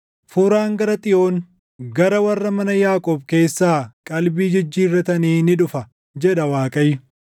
“Furaan gara Xiyoon, gara warra mana Yaaqoob keessaa qalbii jijjiirratanii ni dhufa” jedha Waaqayyo.